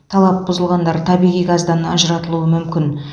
талап бұзылғандар табиғи газдан ажыратылуы мүмкін